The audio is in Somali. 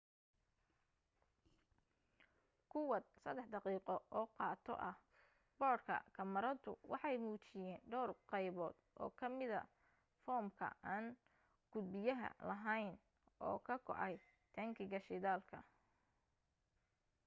kuwaad 3 daqiqo oo qado ah boodhka kamaradu waxay muujiyeen dhawr qaybood oo kamida foormka aan gudbiyaha ahayn oo ka go'ay taangiga shidaalka